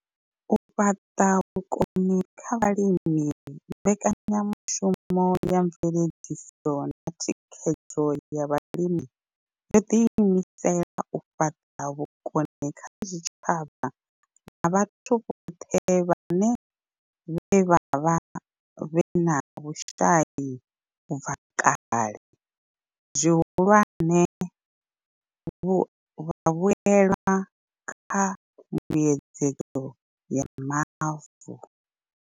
U fhaṱa vhukoni kha vhalimi mbekanyamushumo ya mveledziso na thikhedzo ya vhalimi yo ḓiimisela u fhaṱa vhukoni kha zwitshavha na vhathu vhone vhaṋe vhe vha vha vhe na vhushai u bva kale, zwihulwane, vhavhuelwa kha mbuedzedzo ya mavu.